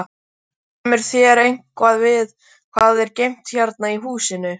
Kemur þér eitthvað við hvað er geymt hérna í húsinu?